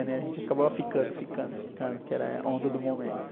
né? A gente acabava ficando, ficando, ficando, que era a onda do momento.